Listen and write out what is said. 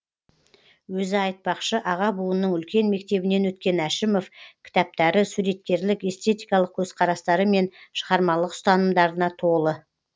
өзі айтпақшы аға буынның үлкен мектебінен өткен әшімов кітаптары суреткерлік эстетикалық көзқарастары мен шығармашылық ұстанымдарына толы